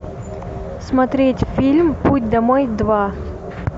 смотреть фильм путь домой два